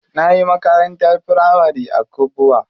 Nayi makarantar firamari a Kubwa.